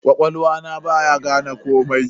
Ƙwaƙwalwa na baya gane komai.